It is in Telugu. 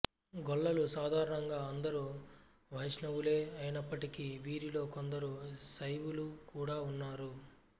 గొల్లలు సాధారణంగా అందరూ వైష్ణవులే అయినప్పటికీ వీరిలో కొందరు శైవులు కూడా ఉన్నారు